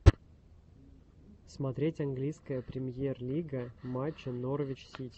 смотреть английская премьер лига матча норвич сити